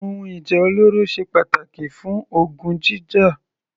Ohun ìjà olóró ṣe pàtàkì fún ogun jíjà.